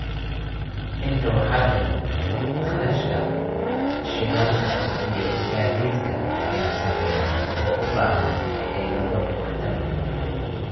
Intaa waxaa dheer, kharashka shidaalka iyo gaadiidka ayaa sarreeya, oo u baahan xeelado waxtar leh.